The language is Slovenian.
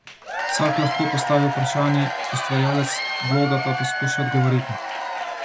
Vsak lahko postavi vprašanje, ustvarjalec bloga pa poskuša odgovoriti.